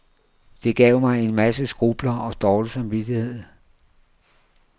Det gav mig en masse skrupler og dårlig samvittighed.